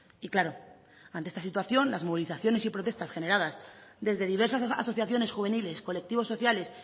y claro ante esta situación las movilizaciones y protestas generadas desde diversas asociaciones juveniles colectivos sociales